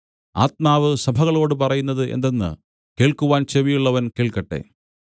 ആത്മാവ് സഭകളോടു പറയുന്നത് എന്തെന്ന് കേൾക്കുവാൻ ചെവിയുള്ളവൻ കേൾക്കട്ടെ